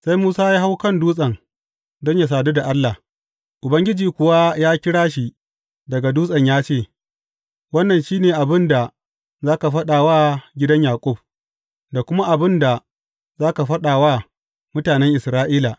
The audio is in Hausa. Sai Musa ya hau kan dutsen don yă sadu da Allah, Ubangiji kuwa ya kira shi daga dutsen ya ce, Wannan shi ne abin da za ka faɗa wa gidan Yaƙub, da kuma abin da za ka faɗa wa mutanen Isra’ila.